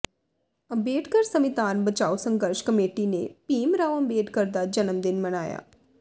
ਅੰਬੇਡਕਰ ਸੰਵਿਧਾਨ ਬਚਾਓ ਸੰਘਰਸ਼ ਕਮੇਟੀ ਨੇ ਭੀਮ ਰਾਓ ਅੰਬੇਡਕਰ ਦਾ ਜਨਮ ਦਿਨ ਮਨਾਇਆ